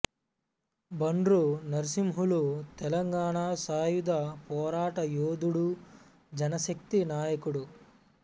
బండ్రు నర్సింహులు తెలంగాణ సాయుధ పోరాట యోధుడు జనశక్తి నాయకుడు